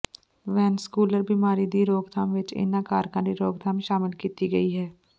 ਵੈਂਸਕੂਲਰ ਬਿਮਾਰੀ ਦੀ ਰੋਕਥਾਮ ਵਿੱਚ ਇਹਨਾਂ ਕਾਰਕਾਂ ਦੀ ਰੋਕਥਾਮ ਸ਼ਾਮਲ ਕੀਤੀ ਗਈ ਹੈ